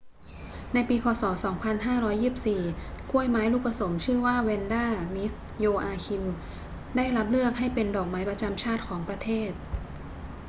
ในปี พ. ศ. 2524 กล้วยไม้ลูกผสมชื่อว่าแวนดา มิส โยอาคิม ได้รับเลือกให้เป็นดอกไม้ประจำชาติของประเทศ